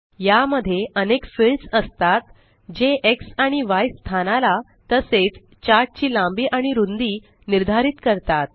या मध्ये अनेक फील्ड्स असतात जे एक्स आणि य स्थानाला तसेच चार्ट ची लांबी आणि रुंदी निर्धारित करतात